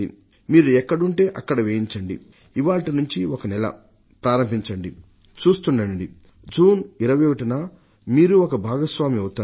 మీరు ఎక్కడుంటే అక్కడ వేయించండి ఇవాళ్టి నుంచి ఒకనెల ప్రారంభించండి చూస్తుండండి జూన్ 21న మీరూ ఒక భాగస్వామి అవుతారు